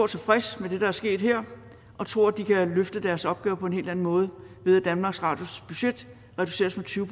tilfredse med det der er sket her og tror de kan løfte deres opgave på en helt anden måde ved at danmarks radios budget reduceres med tyve